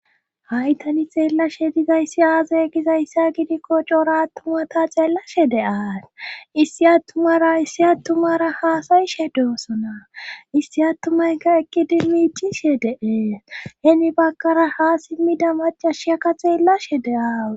Haitani xeellashe dizayssi aazaya gizayssa gidikko coora attumata xeellashe de7aas issi attumara issi attumara haasayishe deosona issi attumayka eqidimiicishe deee hemi bakara ha simmida macashiyakka xeellashe de7aawu